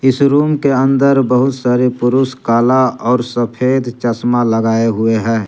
इस रूम के अंदर बहुत सारे पुरुष काला और सफेद चश्मा लगाए हुए हैं।